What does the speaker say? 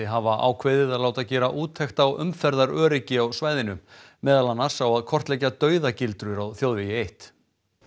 hafa ákveðið að láta gera úttekt á umferðaröryggi á svæðinu meðal annars á að kortleggja dauðagildrur á þjóðvegi eitt